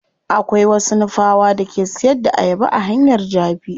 Akwai wasu nupawa da ke siyar da ayaba a hanyar jabi.